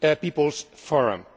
People's Forum.